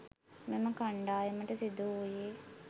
මෙම කණ්ඩායමට සිදුවූයේ